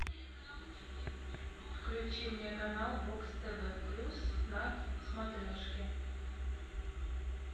включи мне канал бокс тв плюс на смотрешке